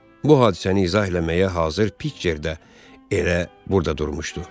Bu hadisəni izah eləməyə hazır Piçer də elə burda durmuşdu.